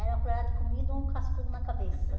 Era uma colherada de comida e um cascudo na cabeça.